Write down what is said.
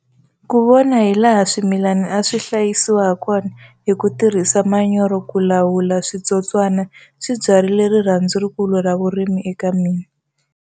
Ku vona hilaha swimilani a swi hlayisiwa hakona hi ku tirhisa manyoro ku lawu la switsotswana swi byarile rirhandzu rikulu ra vurimi eka mina.